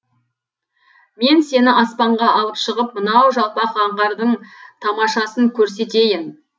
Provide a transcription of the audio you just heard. мен сені аспанға алып шығып мынау жалпақ аңғардың тамашасын көрсетейін